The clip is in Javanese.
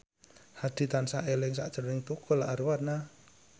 Hadi tansah eling sakjroning Tukul Arwana